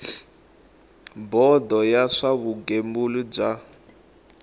bodo ya swa vugembuli bya